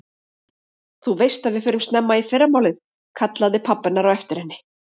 Þú veist að við förum snemma í fyrramálið, kallaði pabbi hennar á eftir henni.